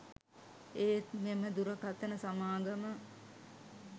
ඒත් මෙම දුරකථන සමාගම